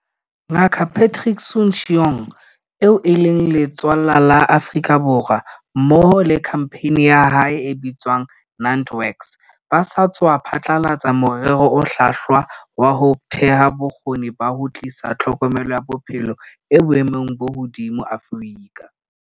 Ngaka Patrick Soon-Shiong, eo e leng letswallwa la Afrika Borwa, mmoho le khampani ya hae e bitswang NantWorks ba sa tswa phatlalatsa morero o hlwahlwa wa ho theha bo kgoni ba ho tlisa tlhokomelo ya bophelo e boemong bo hodimo Afrika.